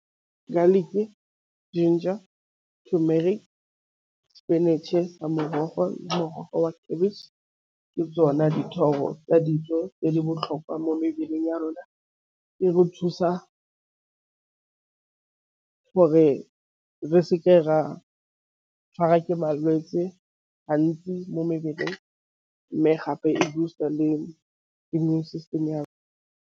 Garlic, ginger, turmeric, spinach-e sa morogo le morogo wa cabbage ka tsona dithoro tsa dijo tse di botlhokwa mo mebeleng ya rona. E re thusa a gore re se ke ra tšhwarwa ke malwetse gantsi mo mebeleng, mme gape e boost-a le di-immune system ya rona.